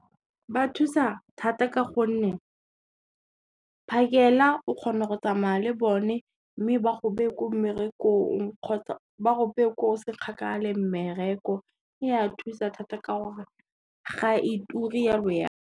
Ba thusa thata ka gonne, phakela o kgona go tsamaya le bone mme ba go bee ko mmerekong kgotsa ba go bee ko o se kgakala le mmereko. E a thusa thata ka gore ga e ture jalo ya .